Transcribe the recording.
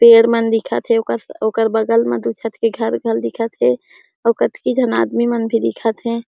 पेड़ मन दिखत हे ओकर ओकर बगल म दिखत हे घरघर दिखत हे आऊ कतकी झन आदमी मन भी दिखत हे।